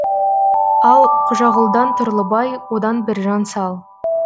ал қожағұлдан тұрлыбай одан біржан сал